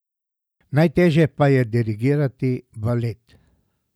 Najtežje pa je dirigirati balet!